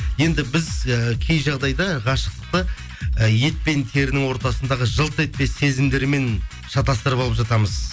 енді біз ііі кей жағдайда ғашықтықты і ет пен терінің ортасындағы жылт етпес сезімдермен шатастырып алып жатамыз